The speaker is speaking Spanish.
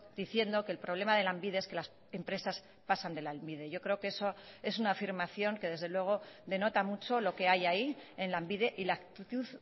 diciendo que el problema de lanbide es que las empresas pasan de lanbide yo creo que eso es una afirmación que desde luego denota mucho lo que hay ahí en lanbide y la actitud